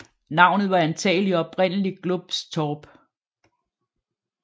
Navnet var antagelig oprindelig Globs torp